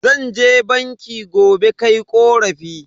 Zan je banki gobe kai korafi.